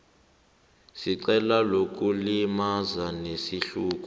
secala lokulimaza ngesihluku